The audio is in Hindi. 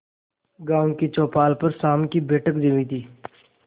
गांव की चौपाल पर शाम की बैठक जमी थी